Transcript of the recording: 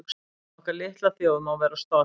Okkar litla þjóð má vera stolt